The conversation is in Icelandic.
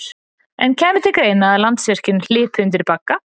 En kæmi til greina að Landsvirkjun hlypi undir bagga?